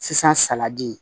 Sisan salati